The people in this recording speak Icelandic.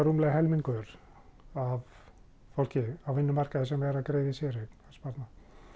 rúmlega helmingur af fólki á vinnumarkaði sem væri að greiða í séreignarsparnað